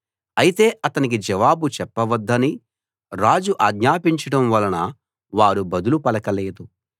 అయితే అతనికి జవాబు చెప్పవద్దని రాజు ఆజ్ఞాపించడం వలన వారు బదులు పలకలేదు